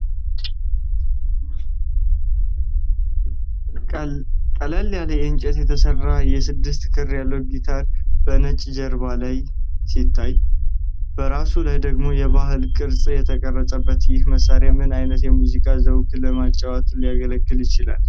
ቀለል ያለ እንጨት የተሰራ የስድስት ክር ያለው ጊታር በነጭ ጀርባ ላይ ሲታይ፣ በራሱ ላይ ደግሞ የባህላዊ ቅርጽ የተቀረጸበት፣ ይህ መሳሪያ ምን አይነት የሙዚቃ ዘውግ ለማጫወት ሊያገለግል ይችላል?